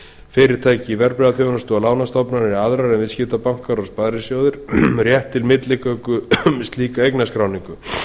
fyrirtæki í verðbréfaþjónustu og lánastofnanir aðrar en viðskiptabankar og sparisjóðir rétt til milligöngu um slíka eignarskráningu